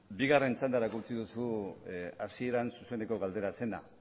bigarren txandarako utzi duzu hasieran zuzeneko galdera zena